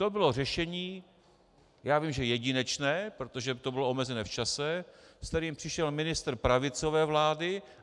To bylo řešení, já vím, že jedinečné, protože to bylo omezené v čase, se kterým přišel ministr pravicové vlády.